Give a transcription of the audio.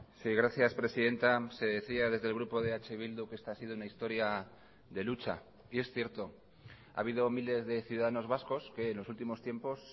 sí gracias presidenta se decía desde el grupo de eh bildu que esta ha sido una historia de lucha y es cierto ha habido miles de ciudadanos vascos que en los últimos tiempos